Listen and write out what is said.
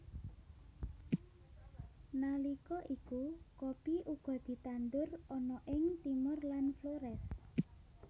Nalika iku kopi uga ditandur ana ing Timor lan Flores